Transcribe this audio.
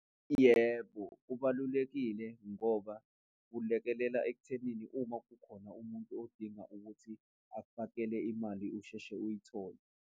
Yebo, kubalulekile ngoba kulekelela ekuthenini uma kukhona umuntu odinga ukuthi akufakele imali, usheshe uyithole.